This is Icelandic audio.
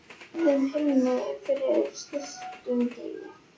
Sól á heiðum himni yfir stilltum degi.